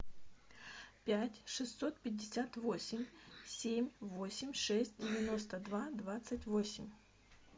пять шестьсот пятьдесят восемь семь восемь шесть девяносто два двадцать восемь